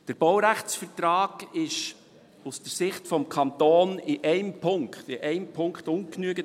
Der Baurechtsvertrag ist aus der Sicht des Kantons in einem Punkt – in einem Punkt – ungenügend;